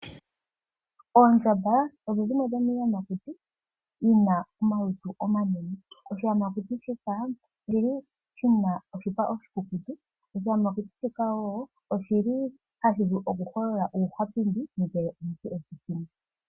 Oondjamba odho dhimwe dhomiiyamakuti yina omalutu omanene. Oshiyamakuti shika oshili shina oshipa oshikukutu. Oshiyamakuti shika wo oshili hashi vulu okuholola uuhwapindi ngele omuntu eshi hindi.